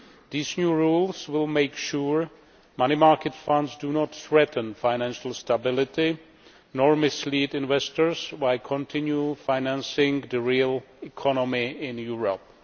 These new rules will make sure money market funds do not threaten financial stability nor mislead investors by continued financing of the real economy in Europe.